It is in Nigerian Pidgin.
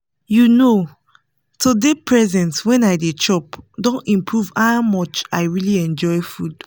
you know to dey present when i dey chop don improve how much i really enjoy food